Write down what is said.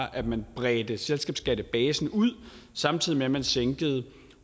at man bredte selskabsskattebasen ud samtidig med at man sænkede